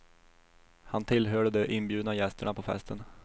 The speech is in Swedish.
Han tillhörde de inbjudna gästerna på festen.